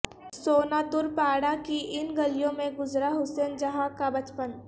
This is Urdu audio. سوناتور پاڑہ کی ان گلیوں میں گزرا حسین جہاں کا بچپن